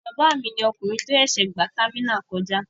Ọ̀rẹ́ bàbá mi ni ọkùnrin tí ó ṣẹ̀ṣẹ̀ gba támínà kọjá.